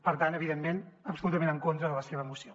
per tant evidentment absolutament en contra de la seva moció